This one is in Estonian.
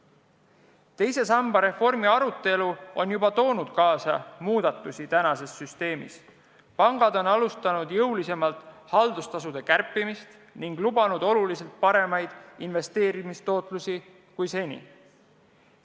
Teise samba reformi arutelu on juba toonud kaasa muudatusi süsteemis, pangad on alustanud jõulisemalt haldustasude kärpimist ning lubanud oluliselt paremaid investeerimistootlust kui seni.